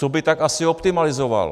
Co by tak asi optimalizoval?